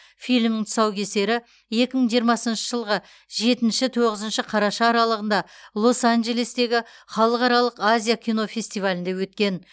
фильмнің тұсаукесері екі мың жиырмасыншы жылғы жетінші тоғызыншы қараша аралығында лос анджелестегі халықаралық азия кинофестивалінде өткен